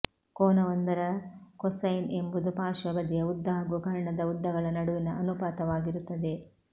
ಕೋನವೊಂದರ cosine ಎಂಬುದು ಪಾರ್ಶ್ವ ಬದಿಯ ಉದ್ದ ಹಾಗೂ ಕರ್ಣದ ಉದ್ದಗಳ ನಡುವಿನ ಅನುಪಾತವಾಗಿರುತ್ತದೆ